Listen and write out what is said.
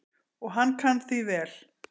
Og hann kann því vel.